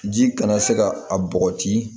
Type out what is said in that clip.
Ji kana se ka a bɔgɔti